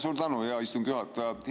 Suur tänu, hea istungi juhataja!